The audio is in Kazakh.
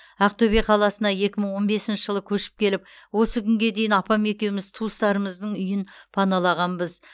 ақтөбе қаласына екі мың он бесінші жылы көшіп келіп осы күнге дейін апам екеуміз туыстарымыздың үйін паналағанбыз